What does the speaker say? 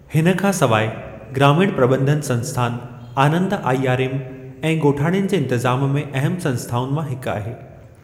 हिन खां सवाइ, ग्रामीण प्रॿंधन संस्थान आनंद आईआरएम ऐ ॻोठाणनि जे इंतज़ाम में अहिमु संस्थाउनि मां हिक आहे।